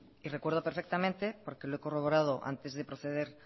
y recuerdo perfectamente porque he corroborado antes de proceder